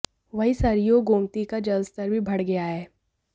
वहीं सरयू और गोमती का जलस्तर भी बढ़ गया है